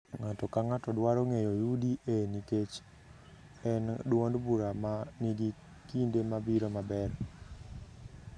Ng’ato ka ng’ato dwaro ng’eyo UDA nikech en duond bura ma nigi kinde mabiro maber.